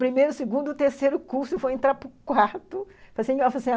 primeiro, segundo, terceiro curso, eu vou entrar para o quarto